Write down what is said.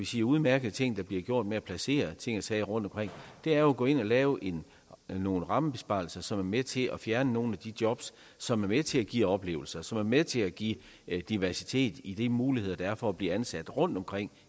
de udmærkede ting der bliver gjort med at placere ting ting rundtomkring er jo at gå ind og lave nogle rammebesparelser som er med til at fjerne nogle af de jobs som er med til at give oplevelser som er med til at give diversitet i de muligheder der er for at blive ansat rundtomkring